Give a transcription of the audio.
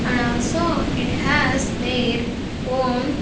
And also it has their own --